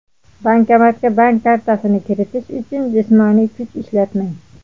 Bankomatga bank kartasini kiritish uchun jismoniy kuch ishlatmang.